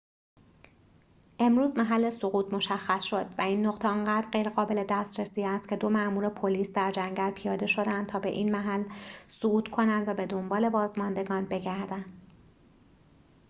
امروز محل سقوط مشخص شد و این نقطه آنقدر غیرقابل دسترسی است که دو مامور پلیس در جنگل پیاده شدند تا به این محل صعود کنند و به دنبال بازماندگان بگردند